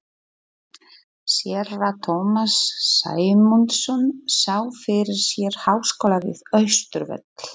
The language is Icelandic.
Séra Tómas Sæmundsson sá fyrir sér háskóla við Austurvöll.